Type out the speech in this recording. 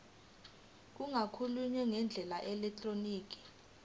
kungakhokhwa ngendlela yeelektroniki